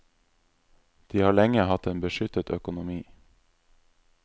De har lenge hatt en beskyttet økonomi.